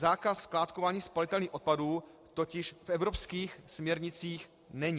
Zákaz skládkování spalitelných odpadů totiž v evropských směrnicích není.